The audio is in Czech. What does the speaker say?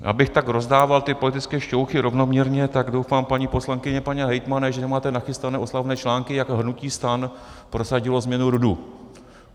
Abych tak rozdával ty politické šťouchy rovnoměrně, tak doufám, paní poslankyně, pane hejtmane, že nemáte nachystané oslavné články, jak hnutí STAN prosadilo změnu RUDu.